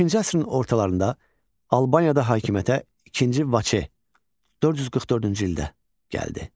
Beşinci əsrin ortalarında Albaniyada hakimiyyətə II Vaçe 444-cü ildə gəldi.